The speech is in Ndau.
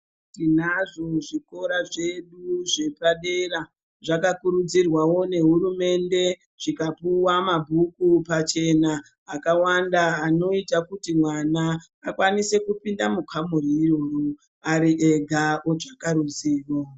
Tinazvo zvikora zvedu zvepadera zvakakurudzirwavo nehurumende zvikapuva mabhuku pachena akawanda. Anoita kuti mwana akwanise kupinda mukamuri iyoyo ari ega otsvaka ruzivo.